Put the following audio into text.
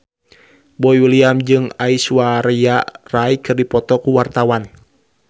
Boy William jeung Aishwarya Rai keur dipoto ku wartawan